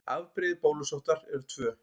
Afbrigði bólusóttar eru tvö.